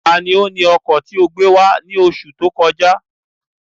Tani ó ni ọkọ̀ ti ọ gbé wá ní oṣù tó kọjá?